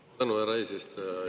Suur tänu, härra eesistuja!